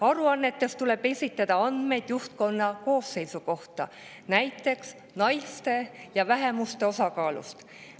Aruannetes tuleb esitada andmeid juhtkonna koosseisu kohta, näiteks naiste ja vähemuste osakaalu kohta.